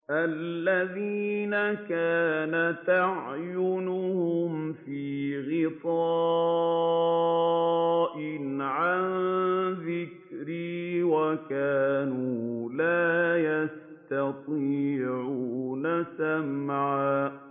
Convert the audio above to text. الَّذِينَ كَانَتْ أَعْيُنُهُمْ فِي غِطَاءٍ عَن ذِكْرِي وَكَانُوا لَا يَسْتَطِيعُونَ سَمْعًا